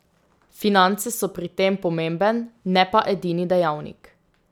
Finance so pri tem pomemben, ne pa edini dejavnik.